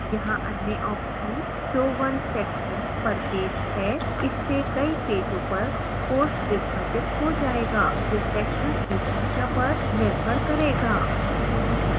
यहाँ अन्य option show one section per page है